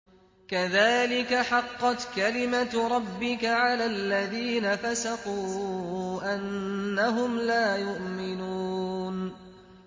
كَذَٰلِكَ حَقَّتْ كَلِمَتُ رَبِّكَ عَلَى الَّذِينَ فَسَقُوا أَنَّهُمْ لَا يُؤْمِنُونَ